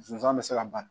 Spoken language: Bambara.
Sonsan bɛ se ka ban